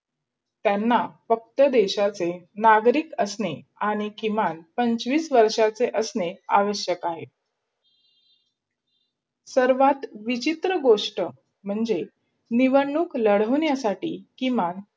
त्यांना फक्त देशाचे नागरिक असणे आणि किमान पंचवीस वर्षाचे असणे आवश्यक आहे सर्वात विचित्र गोष्ट म्हणजे निवडणूक लढवण्यासाठी किमान